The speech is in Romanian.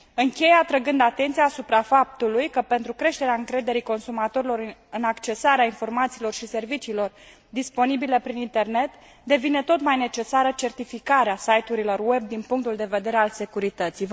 Închei atrăgând atenția supra faptului că pentru creșterea încrederii consumatorilor în accesarea informațiilor și serviciilor disponibile prin internet devine tot mai necesară certificarea site urilor web din punctul de vedere al securității.